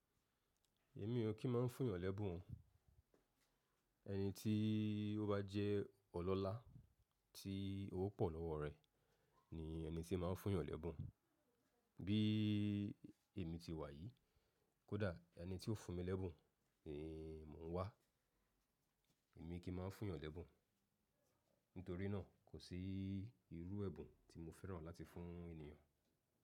Èmi ò kí máa ń fún ìyàn lẹ́bùn. Ẹni tí ó bá jẹ́ ọlọ́lá tí owó pọ̀ lọ́wọ́ rẹ̀ ni ẹni tí màá fún ìyàn lẹ́bùn. Bí i èmi ti wà yìí, kódà ẹni tí ó fún mi lẹ́bùn ni mò ń wá. Èmi kì í máa ń fún èèyàn lẹ́bùn, nítorí náà kò sí irú ẹ̀bùn tí mo fẹ́ràn láti fún ènìyàn.